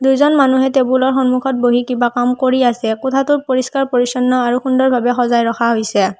দুইজন মানুহে টেবুলৰ সন্মুখত বহি কিবা কাম কৰি আছে কোঠাটো পৰিস্কাৰ-পৰিচ্ছন্ন আৰু সুন্দৰভাৱে সজাই ৰখা হৈছে।